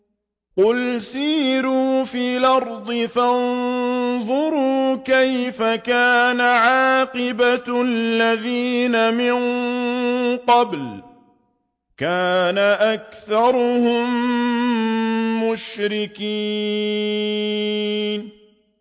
قُلْ سِيرُوا فِي الْأَرْضِ فَانظُرُوا كَيْفَ كَانَ عَاقِبَةُ الَّذِينَ مِن قَبْلُ ۚ كَانَ أَكْثَرُهُم مُّشْرِكِينَ